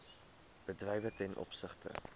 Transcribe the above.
bedrywe ten opsigte